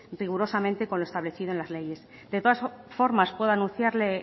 rigurosamente con lo establecido en la leyes de todas formas puedo anunciarle